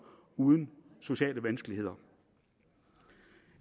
uden sociale vanskeligheder